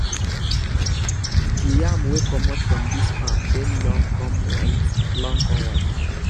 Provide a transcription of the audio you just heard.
di yam wey comot from dis farm dem long come white long come white